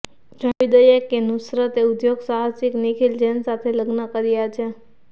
જણાવી દઈએ કે નુસરતે ઉદ્યોગસાહસિક નિખિલ જૈન સાથે લગ્ન કર્યા છે